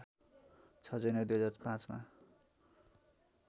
६ जनवरी २००५ मा